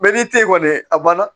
n'i tɛ kɔni a banna